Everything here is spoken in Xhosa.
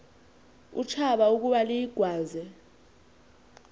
utshaba ukuba luyigwaze